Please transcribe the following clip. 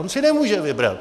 On si nemůže vybrat!